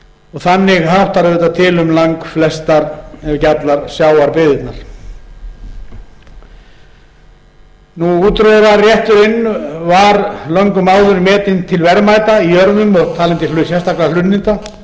þannig háttar auðvitað til um langflestar ef ekki allar sjávarbyggðirnar útróðrarrétturinn var löngum áður metinn til verðmæta í jörðum og talinn til sérstakra hlunninda